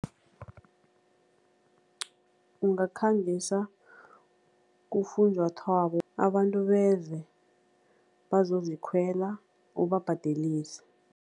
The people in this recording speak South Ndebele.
Ungakhangisa kufunjathwako, abantu beze bazozikhwela, ubabhadelise.